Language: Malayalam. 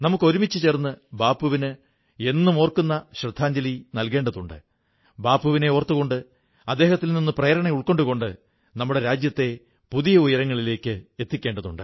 നമുക്കൊരുമിച്ചു ചേർന്ന് ബാപ്പുവിന് എന്നും ഓർക്കുന്ന ശ്രദ്ധാഞ്ജലി ഏകേണ്ടതുണ്ട് ബാപ്പുവിനെ ഓർത്തുകൊണ്ട് അദ്ദേഹത്തിൽ നിന്ന് പ്രേരണ ഉൾക്കൊണ്ടുകൊണ്ട് നമ്മുടെ രാജ്യത്തെ പുതിയ ഉയരങ്ങളിലെത്തിക്കേണ്ടതുണ്ട്